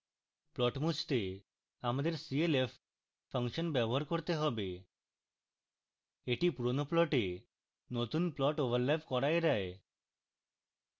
plot মুছতে আমাদের clf function ব্যবহার করতে have এটি পুরোনো plot নতুন plot ওভারল্যাপ করা এড়ায়